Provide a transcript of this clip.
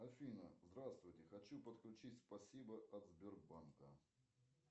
афина здравствуйте хочу подключить спасибо от сбербанка